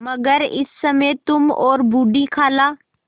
मगर इस समय तुम और बूढ़ी खाला